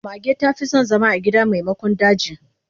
Mage ta fi son zama a gida maimakon daji.